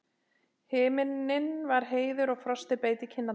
Himinninn var heiður og frostið beit í kinnarnar.